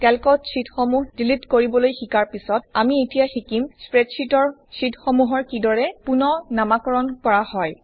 কেল্কত শ্বিটসমূহ ডিলিট কৰিবলৈ শিকাৰ পিছত আমি এতিয়া শিকিম স্প্ৰেডশ্বিটৰ শ্বিটসমূহৰ কিদৰে ৰিনেম কৰা হয়